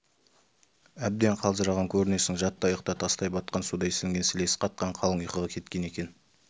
әбден қалжыраған көрінесің жат та ұйықта тастай батқан судай сіңген сілесі қатқан қалың ұйқыға кеткен екен